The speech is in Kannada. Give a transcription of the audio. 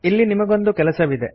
ಇಲ್ಲಿ ನಿಮಗೊಂದು ಕೆಲಸವಿದೆ